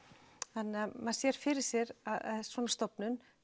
þannig maður sér fyrir sér að svona stofnun